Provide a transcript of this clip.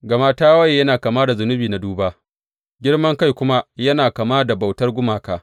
Gama tawaye yana kama da zunubi na duba, girman kai kuma yana kama da bautar gumaka.